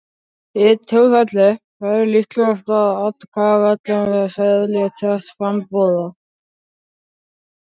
Í því tilfelli væri líklegast að atkvæðaseðilinn væri seðill þess frambjóðanda.